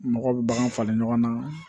Mɔgɔw bɛ bagan falen ɲɔgɔn na